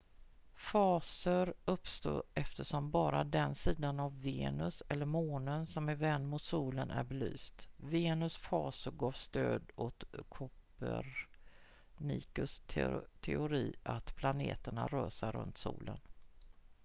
faser uppstår eftersom bara den sida av venus eller månen som är vänd mot solen är belyst. venus faser gav stöd åt kopernikus teori att planeterna rör sig runt solen